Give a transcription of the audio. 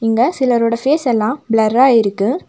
இங்க சிலரோட ஃபேஸ் எல்லாம் ப்ளர்ரா இருக்கு.